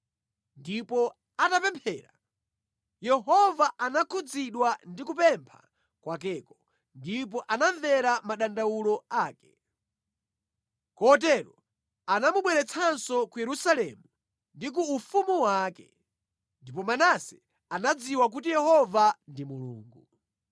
Ndipo atapemphera, Yehova anakhudzidwa ndi kupempha kwakeko ndipo anamvera madandawulo ake. Kotero anamubweretsanso ku Yerusalemu ndi ku ufumu wake. Ndipo Manase anadziwa kuti Yehova ndi Mulungu.